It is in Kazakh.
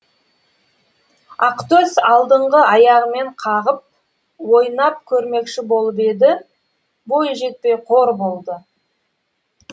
ақтөс алдыңғы аяғымен қағып ойнап көрмекші болып еді бойы жетпей қор болды